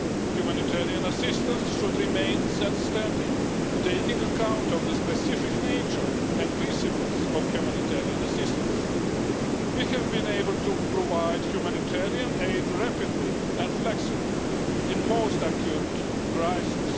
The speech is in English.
Humanitarian assistance should remain self standing, taking account of the specific nature and principles of humanitarian assistance. We have been able to provide humanitarian aid rapidly and flexibly in most acute crises.